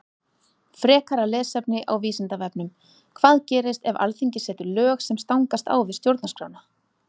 Frekara lesefni á Vísindavefnum Hvað gerist ef Alþingi setur lög sem stangast á við Stjórnarskrána?